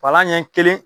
Palan ɲɛ kelen